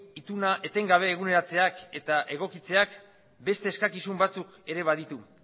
ituna etengabe eguneratzeak eta egokitzeak beste eskakizun batzuk ere baditu